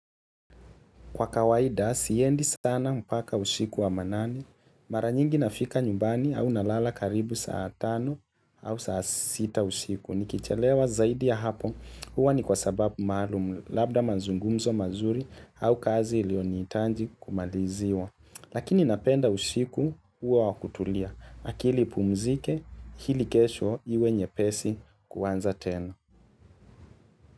Kwa kawaida siendi stana mpaka ushiku wa manane. Mara nyingi nafika nyumbani au nalala karibu saa tano au saa sita usiku. Nikichelewa zaidi ya hapo, huwa ni kwa sababu maalum, labda mazungumzo mazuri au kazi ilionihitaji kumaliziwa. Lakini napenda usiku huwa wakutulia, akili ipumzike ili kesho iwe nyepesi kuanza tena.